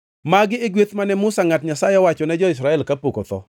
Magi e gweth mane Musa ngʼat Nyasaye owacho ne jo-Israel kapok otho.